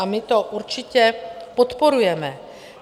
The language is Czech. A my to určitě podporujeme.